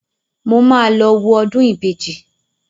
Mo máa lọ wo ọdún ìbejì